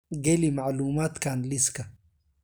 geli macluumaadkan liiska